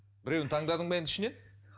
біреуін таңдадың ба енді ішінен